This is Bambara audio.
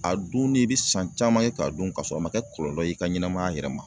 A dunni i bi san caman ye k'a dun kasɔrɔ a ma kɛ kɔlɔlɔ ye i ka ɲɛnamaya yɛrɛ ma.